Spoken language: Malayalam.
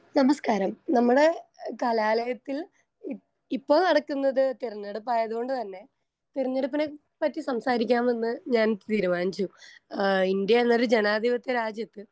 സ്പീക്കർ 1 നമസ്‌കാരം നമ്മടെ കലാലയത്തിൽ ഇ ഇപ്പൊ നടക്കുന്നത് തെരഞ്ഞെടുപ്പായതുകൊണ്ട്തന്നെ തിരഞ്ഞെടുപ്പിനെപ്പറ്റി സംസാരിക്കാമെന്ന് ഞാൻ തീരുമാനിച്ചു. ആ ഇന്ത്യ എന്നൊരു ജനാധിപത്യ രാജ്യത്ത്